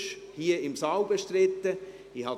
Ist sie sonst bestritten, hier im Saal?